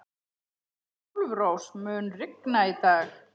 Álfrós, mun rigna í dag?